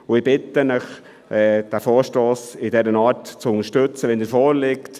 Ich bitte Sie, den Vorstoss in der Art zu unterstützen, wie er vorliegt.